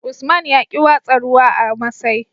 Usman yaƙi watsa ruwa a masai